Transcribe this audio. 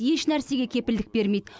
ешнәрсеге кепілдік бермейді